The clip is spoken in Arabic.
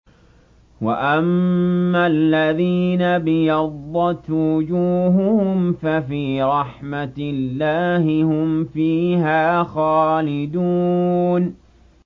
وَأَمَّا الَّذِينَ ابْيَضَّتْ وُجُوهُهُمْ فَفِي رَحْمَةِ اللَّهِ هُمْ فِيهَا خَالِدُونَ